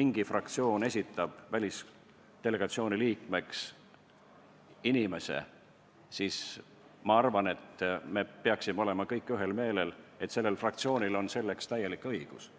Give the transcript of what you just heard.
mõni fraktsioon esitab välisdelegatsiooni liikmeks ühe või teise inimese, siis ma arvan, et me peaksime olema kõik ühel meelel, et sellel fraktsioonil on selleks täielik õigus.